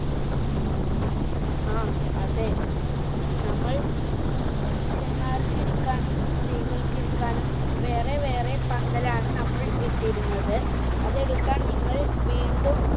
ആ അതെ നമ്മൾ പുരുഷന്മാർക്ക് ഇരിക്കാനും സ്ത്രീകൾക്ക് ഇരിക്കാനും വേറെ വേറെ പന്തലാണ് നമ്മൾ ഇട്ടിരുന്നത് അതെടുക്കാൻ നിങ്ങൾ വീണ്ടും